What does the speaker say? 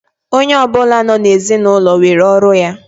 Onye ọbụla nọ na ezinaụlọ nwere ọrụ ya